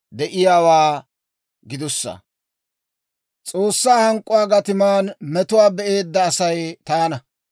S'oossaa hank'k'uwaa gatiman metuwaa be'eedda Asay taana.